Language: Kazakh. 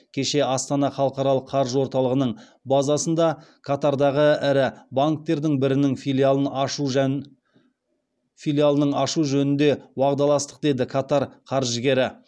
кеше астана халықаралық қаржы орталығының базасында катардағы ірі банктердің бірінің филиалын ашу жөнінде уағдаластық деді катар қаржыгері